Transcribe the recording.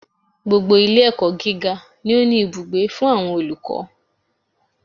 Gbogbo Ilé ẹ̀kọ́ gíga ni ó ní ibùgbé fún àwọn olùkọ́